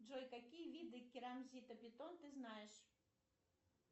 джой какие виды керамзита бетон ты знаешь